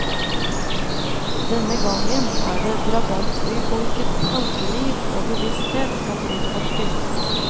Denne gangen er det drabantbyfolkets tankeliv og bevissthet som utforskes.